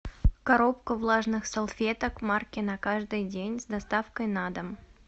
коробка влажных салфеток марки на каждый день с доставкой на дом